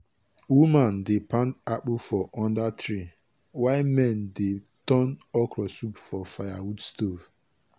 woman dey pound akpu for under tree while men dey turn okra soup for firewood stove.